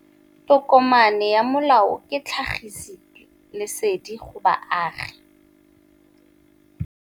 Tokomane ya molao ke tlhagisi lesedi go baagi.